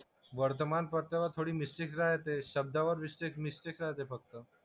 वर्तमानपत्रात थोडी मिस्टेक राहतेच. शब्दावर मिस्टेक मिस्टेक राहते फक्त.